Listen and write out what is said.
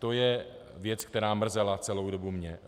To je věc, která mrzela celou dobu mě.